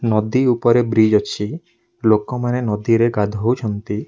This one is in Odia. ନଦୀ ଉପରେ ବ୍ରିଜ ଅଛି ଲୋକ ମାନେ ଗଧଉଛନ୍ତି ।